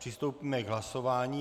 Přistoupíme k hlasování.